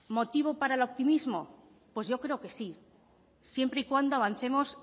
motivos para el optimismo pues yo creo que sí siempre y cuando avancemos